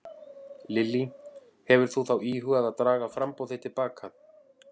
Lillý: Hefur þú þá íhugað að draga framboð þitt til baka?